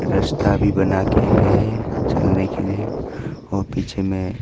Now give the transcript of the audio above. रास्ता भी बना के है चलने के लिए और पीछे में--